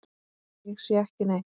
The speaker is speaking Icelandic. Ég sé ekki neitt.